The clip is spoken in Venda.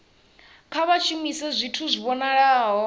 kha vha shumise zwithu zwi vhonalaho